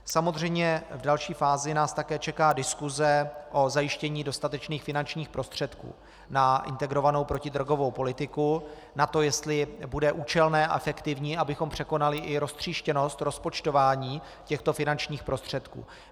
Samozřejmě v další fázi nás také čeká diskuse o zajištění dostatečných finančních prostředků na integrovanou protidrogovou politiku, na to, jestli bude účelné a efektivní, abychom překonali i roztříštěnost rozpočtování těchto finančních prostředků.